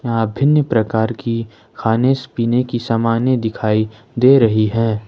यहां विभिन्न प्रकार की खाने पीने की सामाने दिखाई दे रही है।